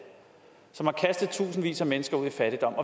som har kastet tusindvis af mennesker ud i fattigdom